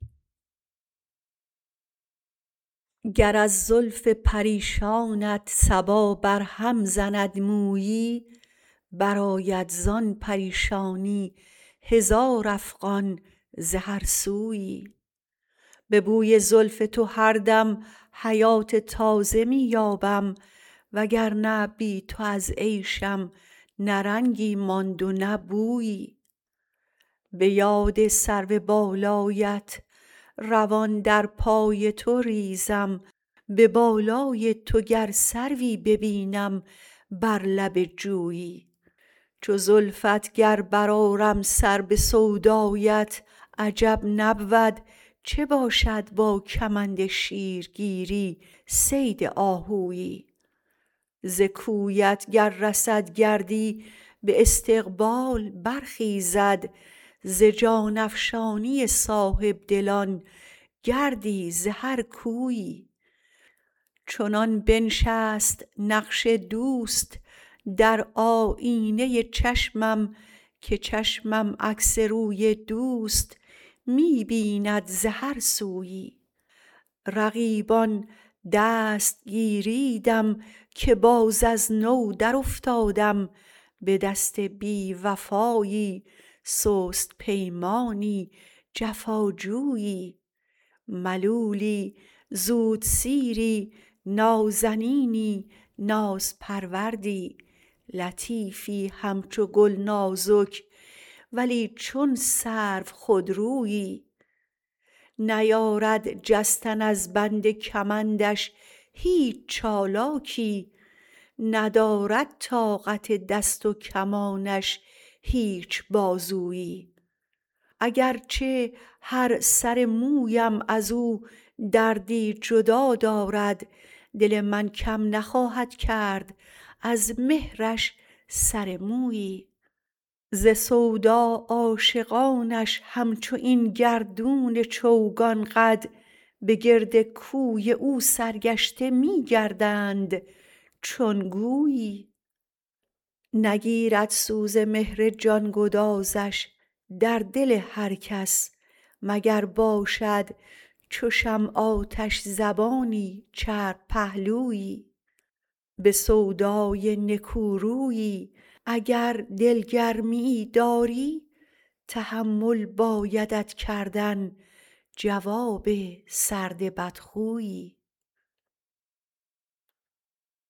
گر از زلف پریشانت صبا بر هم زند مویی برآید زان پریشانی هزار افغان ز هر سویی به بوی زلف تو هر دم حیات تازه می یابم وگر نه بی تو از عیشم نه رنگی ماند و نه بویی به یاد سرو بالایت روان در پای تو ریزم به بالای تو گر سروی ببینم بر لب جویی چو زلفت گر برآرم سر به سودایت عجب نبود چه باشد با کمند شیرگیری صید آهویی ز کویت گر رسد گردی به استقبال برخیزد ز جان افشانی صاحبدلان گردی ز هر کویی چنان بنشست نقش دوست در آیینه چشمم که چشمم عکس روی دوست می بیند ز هر سویی رقیبان دست گیریدم که باز از نو در افتادم به دست بی وفایی سست پیمانی جفاجویی ملولی زود سیری نازنینی ناز پروردی لطیفی همچو گل نازک ولی چون سرو خودرویی نیارد جستن از بند کمندش هیچ چالاکی ندارد طاقت دست و کمانش هیچ بازویی اگر چه هر سر مویم ازو دردی جدا دارد دل من کم نخواهد کرد از مهرش سر مویی ز سودا عاشقانش همچو این گردون چوگان قد به گرد کوی او سرگشته می گردند چون گویی نگیرد سوز مهر جان گدازش در دل هر کس مگر باشد چو شمع آتش زبانی چرب پهلویی به سودای نکورویی اگر دل گرمی یی داری تحمل بایدت کردن جواب سرد بدخویی